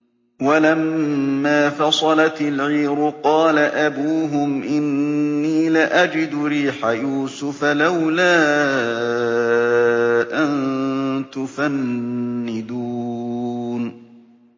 وَلَمَّا فَصَلَتِ الْعِيرُ قَالَ أَبُوهُمْ إِنِّي لَأَجِدُ رِيحَ يُوسُفَ ۖ لَوْلَا أَن تُفَنِّدُونِ